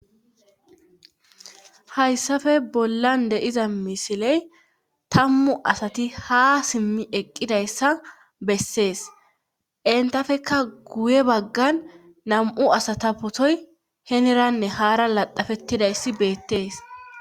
Hayssafe bollan de'iza misiley tammu asati ha simmi eqqidayssa bessees entafekka guye baggan nam7u asata potoy heneranne haara laxafettidayssi beettees.